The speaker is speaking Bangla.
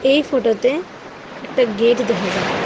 এই ফটোতে একটা গেট দেখা যায়।